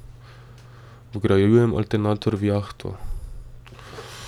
Vgrajujem alternator v jahto.